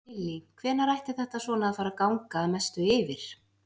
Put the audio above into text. Lillý: Hvenær ætti þetta svona að fara að ganga að mestu yfir?